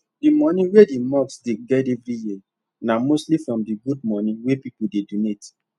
the money wey the mosque dey get every year na mostly from the good money wey people dey donate